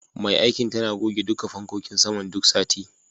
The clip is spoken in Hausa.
Mai aikin tana goge duka fankokin saman duk sati.